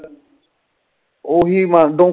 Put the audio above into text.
ਓਹੀ ਬੰਦ